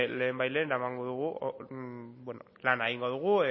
lehenbailehen eramango dugu lana egingo dugu